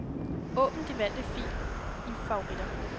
Åbn den valgte fil i favoritter.